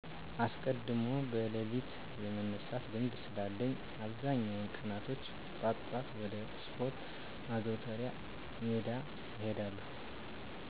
አስቀድሞ በለሊት የመነሳት ልምድ ስላለኝ አብዛኛውን ቀናቶች ጧጧት ወደ ስፓርት ማዘውተሪያ ሜዳወች እሄዳለሁ።